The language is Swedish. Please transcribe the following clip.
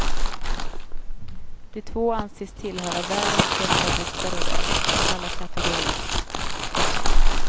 De två anses tillhöra världens bästa boxare i dag, alla kategorier.